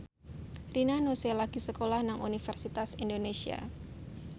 Rina Nose lagi sekolah nang Universitas Indonesia